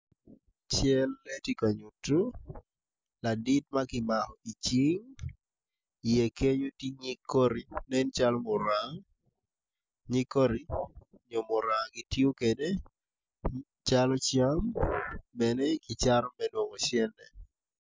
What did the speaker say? Cal ma tye ka nyuto ladit ma kimako i cing iye kenyo tye nyig koti ma nen calo muranga nyig koti nyo muranga gitiyo kwede calo cam bene kicato me nongo cente.